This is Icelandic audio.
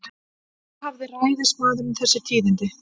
Hvaðan hafði ræðismaðurinn þessi tíðindi?